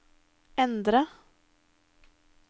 endre